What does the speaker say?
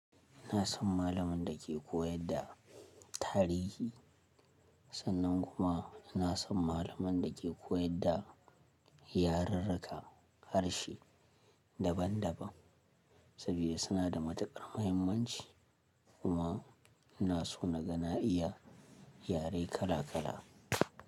Ina son malamin da ke koyar da tarihi, sannan kuma ina son malamin da ke koyar da yarirrika harshe daban-daban sabida suna da matukar muhimmanci kuma ina so na ga na iya yare kala-kala.